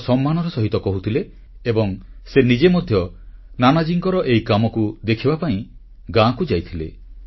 ବଡ଼ ସମ୍ମାନର ସହିତ କହୁଥିଲେ ଏବଂ ସେ ନିଜେ ମଧ୍ୟ ନାନାଜୀଙ୍କର ଏହି କାମକୁ ଦେଖିବା ପାଇଁ ଗାଁକୁ ଯାଇଥିଲେ